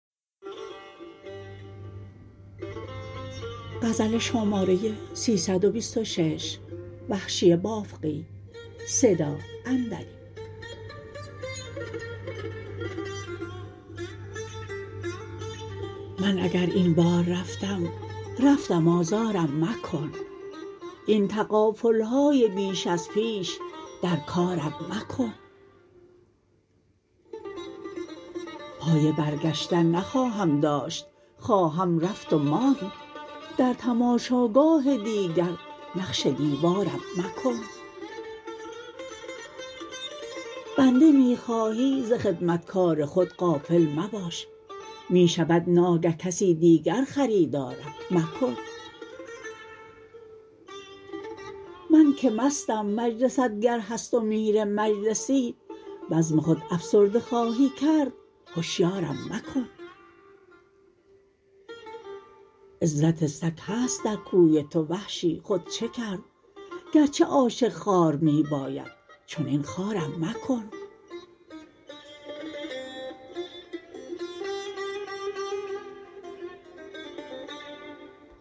من اگر این بار رفتم رفتم آزارم مکن این تغافلهای بیش از پیش در کارم مکن پای برگشتن نخواهم داشت خواهم رفت و ماند در تماشا گاه دیگر نقش دیوارم مکن بنده می خواهی ز خدمتکار خود غافل مباش می شود ناگه کسی دیگر خریدارم مکن من که مستم مجلست گر هست و میر مجلسی بزم خود افسرده خواهی کرد هشیارم مکن عزت سگ هست در کوی تو وحشی خود چه کرد گرچه عاشق خوار می باید چنین خوارم مکن